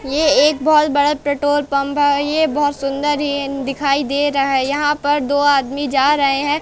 ये एक बहुत बड़ा पेट्रोल पंप है ये बहुत सुंदर हेन दिखाई दे रहा है यहाँ पर दो आदमी जा रहे हैं।